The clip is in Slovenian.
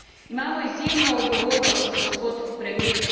Imamo izjemno odgovornost, gospod premier.